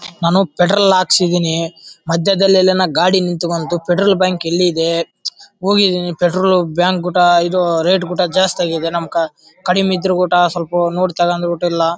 ನಾನು ಪೆಟ್ರೋಲ್ ಹಾಕಸಿದೀನಿ ಮದ್ಯದಲ್ಲಿ ಎಲ್ಲಾ ಗಾಡಿ ನಿಂತಕೊಂತು ಪೆಟ್ರೋಲ್ ಬ್ಯಾಂಕ್ ಎಲ್ಲಿದೆ ಹೋಗಿದೀನಿ ಪೆಟ್ರೋಲ್ ಬ್ಯಾಂಕ್ ಗೂಟ ಇದು ರೇಟ್ ಕೂಡ ಜಾಸ್ತಿ ಆಗಿದೆ ನಮ್ಮ ಕ ಕಡಿಮೆ ಇದ್ರು ಗೂಟ ಸ್ವಲ್ಪ ನೋಡಿ ತೊಕೊಂಡುಬಿಟ್ಟಿಲ್ಲಾ.